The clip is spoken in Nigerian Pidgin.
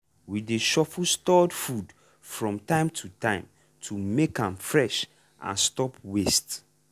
we dey shuffle stored food from time to time to make am fresh and stop waste.